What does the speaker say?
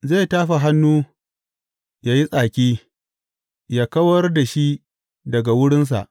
Zai tafa hannu yă yi tsaki yă kawar da shi daga wurinsa.